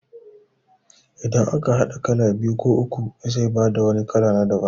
Idan aka haɗa kala biyu ko uku zai bada wani kala na daban